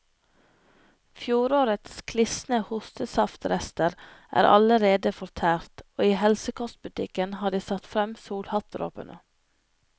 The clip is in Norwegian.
Fjorårets klisne hostesaftrester er allerede fortært, og i helsekostbutikken har de satt frem solhattdråpene.